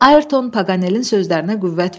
Ayrton Paqanelin sözlərinə qüvvət verdi.